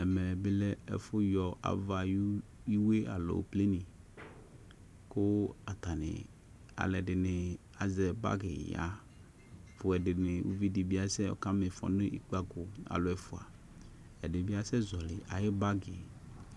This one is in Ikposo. Ɛmɛ bɩ lɛ ɛfʊyɔ ava ayʊ iwue alo pleni kʊ alʊɛdɩbɩ azɛ bagi ya kʊ ʊvɩ dɩbɩ asɛ mɩfɔ nʊ ikpako fua ɛdɩbɩ asɛzɔlɩ ayʊ bagi